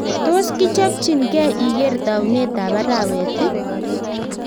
Tos kichopchin gei iger taunet ap arawet iih